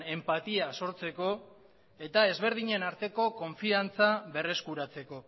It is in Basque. enpatia sortzeko eta ezberdinen arteko konfidantza berreskuratzeko